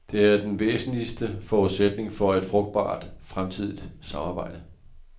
Det er den væsentligste forudsætning for et frugtbart fremtidigt samarbejde.